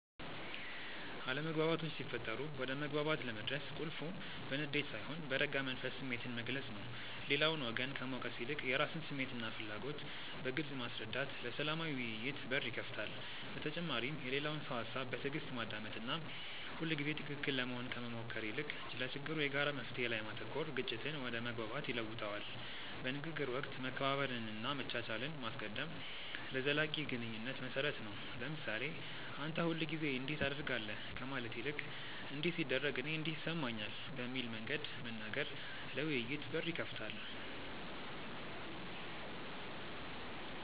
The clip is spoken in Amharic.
አለመግባባቶች ሲፈጠሩ ወደ መግባባት ለመድረስ ቁልፉ በንዴት ሳይሆን በረጋ መንፈስ ስሜትን መግለጽ ነው። ሌላውን ወገን ከመውቀስ ይልቅ የራስን ስሜትና ፍላጎት በግልጽ ማስረዳት ለሰላማዊ ውይይት በር ይከፍታል። በተጨማሪም የሌላውን ሰው ሃሳብ በትዕግስት ማዳመጥና ሁልጊዜ ትክክል ለመሆን ከመሞከር ይልቅ ለችግሩ የጋራ መፍትሔ ላይ ማተኮር ግጭትን ወደ መግባባት ይለውጠዋል። በንግግር ወቅት መከባበርንና መቻቻልን ማስቀደም ለዘላቂ ግንኙነት መሰረት ነው። ለምሳሌ "አንተ ሁልጊዜ እንዲህ ታደርጋለህ" ከማለት ይልቅ "እንዲህ ሲደረግ እኔ እንዲህ ይሰማኛል" በሚል መንገድ መናገር ለውይይት በር ይከፍታል።